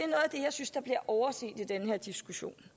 jeg overset i den her diskussion